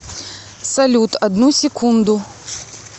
салют одну секунду